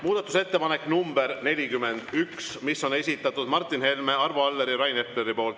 Muudatusettepanek nr 41 on esitanud Martin Helme, Arvo Aller ja Rain Epler.